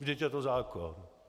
Vždyť je to zákon.